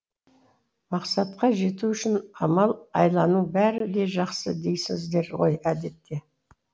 мақсатқа жету үшін амал айланың бәрі де жақсы дейсіздер ғой әдетте